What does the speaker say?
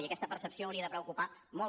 i aquesta percepció hauria de preocupar molt